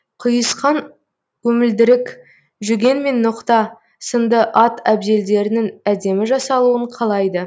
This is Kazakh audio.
құйысқан өмілдірік жүген мен ноқта сынды ат әбзелдерінің әдемі жасалуын қалайды